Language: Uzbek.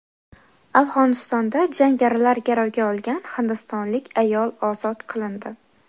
Afg‘onistonda jangarilar garovga olgan hindistonlik ayol ozod qilindi.